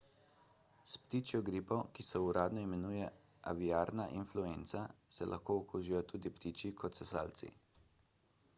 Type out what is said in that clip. s ptičjo gripo ki se uradno imenuje aviarna influenca se lahko okužijo tako ptiči kot sesalci